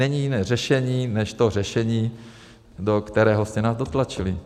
Není jiné řešení než to řešení, do kterého jste nás dotlačili.